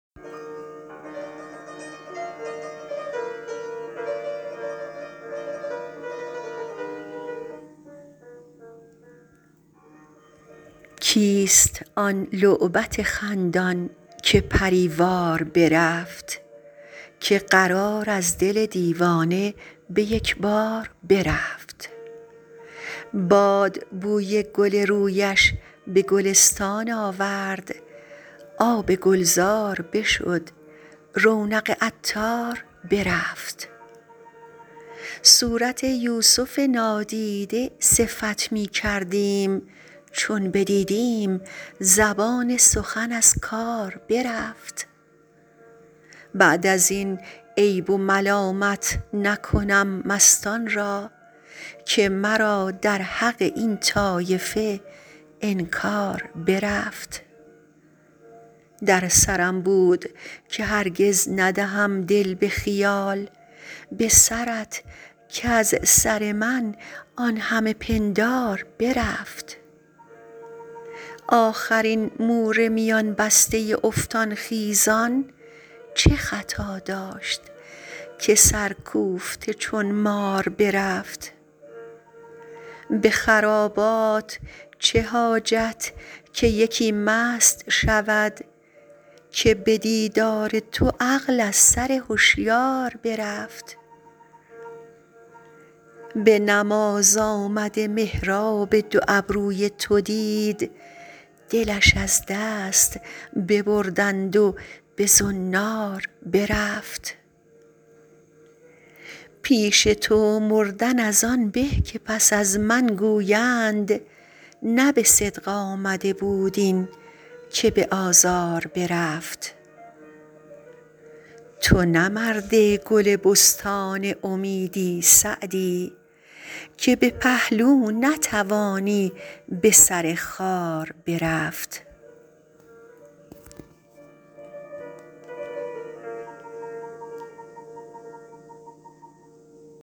کیست آن لعبت خندان که پری وار برفت که قرار از دل دیوانه به یک بار برفت باد بوی گل رویش به گلستان آورد آب گلزار بشد رونق عطار برفت صورت یوسف نادیده صفت می کردیم چون بدیدیم زبان سخن از کار برفت بعد از این عیب و ملامت نکنم مستان را که مرا در حق این طایفه انکار برفت در سرم بود که هرگز ندهم دل به خیال به سرت کز سر من آن همه پندار برفت آخر این مور میان بسته افتان خیزان چه خطا داشت که سرکوفته چون مار برفت به خرابات چه حاجت که یکی مست شود که به دیدار تو عقل از سر هشیار برفت به نماز آمده محراب دو ابروی تو دید دلش از دست ببردند و به زنار برفت پیش تو مردن از آن به که پس از من گویند نه به صدق آمده بود این که به آزار برفت تو نه مرد گل بستان امیدی سعدی که به پهلو نتوانی به سر خار برفت